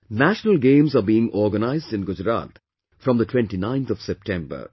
National Games are being organized in Gujarat from the 29th of September